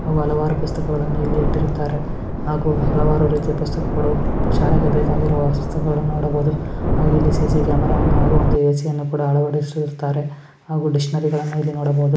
ಹಾಗೂ ಹಲವಾರು ಪುಸ್ತಕಗಳನ್ನು ಇಲ್ಲಿ ಇಟ್ಟಿರುತ್ತಾರೆ ಹಾಗೂ ಹಲವಾರು ರೀತಿಯ ಪುಸ್ತಕಗಳು ಶಾಲೆಗೆ ಬೇಕಾಗಿರುವ ವಸ್ತುಗಳು ನೋಡಬಹುದು ಹಾಗೂ ಇಲ್ಲಿ ಸಿ.ಸಿ ಕ್ಯಾಮೆರಾವನ್ನು ಹಾಗೂ ಎ.ಸಿ ಯನ್ನು ಕೂಡ ಅಳವಡಿಸಿರುತ್ತಾರೆ ಹಾಗೂ ಡಿಕ್ಶನರಿಗಳನ್ನು ಇಲ್ಲಿ ನೋಡಬಹುದು.